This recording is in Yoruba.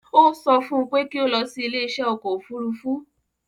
Ó sọ fún un pé kí ó lọ sí ilé iṣẹ́ ọkọ̀ òfurufú